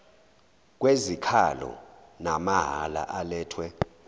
kwezikhalo namahala alethwe